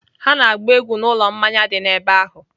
Ha na-agba egwu n'ụlọ mmanya dị n'ebe ahụ.